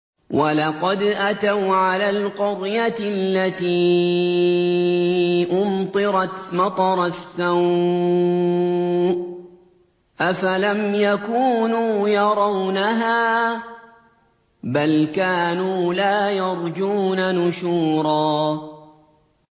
وَلَقَدْ أَتَوْا عَلَى الْقَرْيَةِ الَّتِي أُمْطِرَتْ مَطَرَ السَّوْءِ ۚ أَفَلَمْ يَكُونُوا يَرَوْنَهَا ۚ بَلْ كَانُوا لَا يَرْجُونَ نُشُورًا